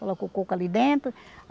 Coloca o coco ali dentro.